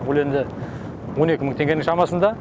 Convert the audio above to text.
ол енді он екі мың теңгенің шамасында